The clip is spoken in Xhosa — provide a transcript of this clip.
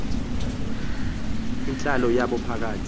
yintlalo yabo phakathi